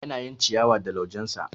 Yana yin ciyawa da laujensa